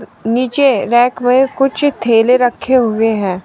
नीचे रैक में कुछ थैले रखे हुए हैं।